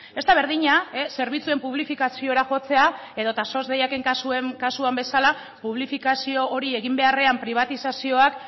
ez da berdina zerbitzuen publifikaziora jotzea edo eta sos deiaken kasuan bezala publifikazio hori egin beharrean pribatizazioak